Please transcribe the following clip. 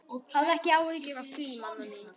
Hafðu ekki áhyggjur af því, mamma mín.